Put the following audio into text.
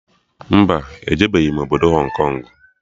Mba, ejebeghi m obodo Hong Kong